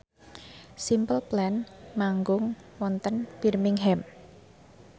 Simple Plan manggung wonten Birmingham